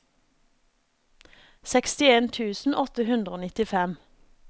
sekstien tusen åtte hundre og nittifem